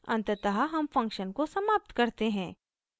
अंततः हम फंक्शन को समाप्त करते हैं